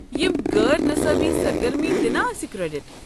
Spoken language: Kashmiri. یم غٲر نصابی سرگرمی دِنا اسہِ کریڈٹ ؟